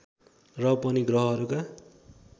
र पनि ग्रहहरूका